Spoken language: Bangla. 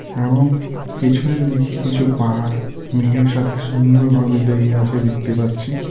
এবং পিছনের দিকে কিছু পাহাড় মেঘের সাথে সুন্দর ভাবে লেগে আছে দেখতে পাচ্ছি.